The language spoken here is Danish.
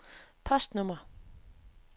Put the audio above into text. postnummer